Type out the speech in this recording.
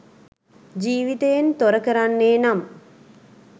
ජීවිතයෙන් තොර කරන්නේ නම්